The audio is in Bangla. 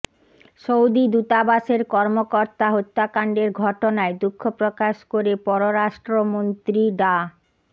সৌদি দূতাবাসের কর্মকর্তা হত্যাকাণ্ডের ঘটনায় দুঃখ প্রকাশ করে পররাষ্ট্রমন্ত্রী ডা